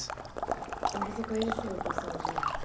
Então você conheceu o pessoal de lá?